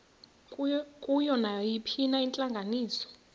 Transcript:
kuyo nayiphina intlanganiso